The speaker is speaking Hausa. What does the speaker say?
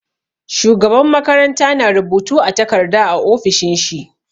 Shugaban makaranta na rubutu a takarda a ofishin shi.